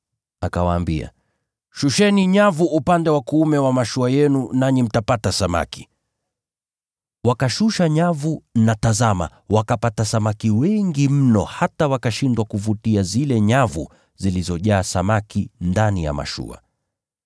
Akawaambia, “Shusheni nyavu upande wa kuume wa mashua yenu nanyi mtapata samaki.” Wakashusha nyavu na tazama wakapata samaki wengi mno hata wakashindwa kuvutia zile nyavu zilizojaa samaki ndani ya mashua.